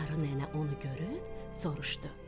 Qarı nənə onu görüb soruşdu.